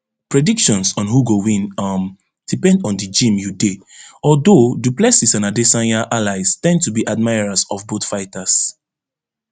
predictions on who go win um depend on di gym you dey although du plessis and adesanya allies ten d to be admirers of both fighters